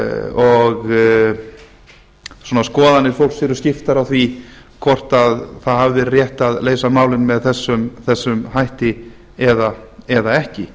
og skoðanir fólks eru skiptar á því hvort það hafi verið rétt að leysa málin með þessum hætti eða ekki